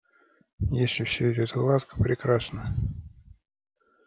если всё идёт гладко прекрасно